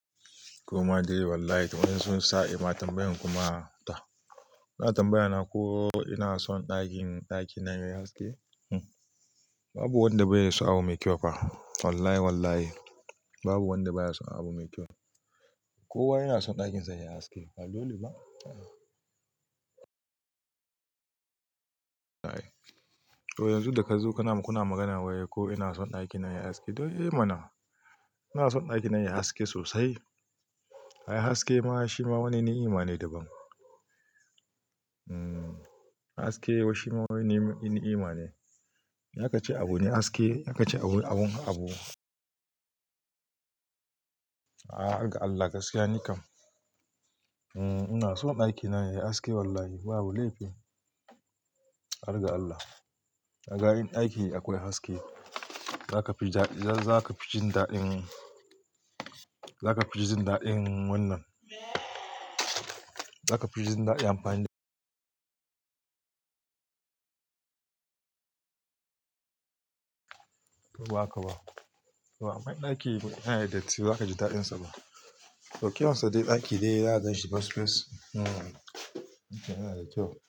Kuma dai wallahi, wai sun sa mata tambayan kuma ta. Na tambayata ko ina son ɗakin, ɗakin na yayi haske. Babu wanda bai yi so abu mai kyau ba. Wallahi, wallahi babu wanda ba ya son abu mai kyau. Kowa yana son ɗakin sa yayi haske. Ba dole ba? To yanzu da ka zo kuna, kuna magana ko ina son ɗaki na yayi haske? To eh mana, ina son ɗakin na yayi haske sosai. Ayi haske ma shi ma wani ni'ima ne daban. Hmm, haske shi ma wani ni'ima ne. Ace abu ne haske, yace abu, abun, abu. Ah, har ga Allah gaskiya nikan. Hmm, ina son ɗakin na yayi haske wallahi, babu laifi. Har ga Allah. Ga in aiki akwai haske, za ka fi jin daɗin, za ka fi jin daɗin wannan. Za ka fi jin daɗin amfani. To ba haka ba. To aman ɗaki ne na ya datti ba zaka ji dadin shi ba. To kyansa dai ɗaki dai, za a ganshi fesfes. Hmm, ita yana da kyau.